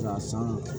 K'a san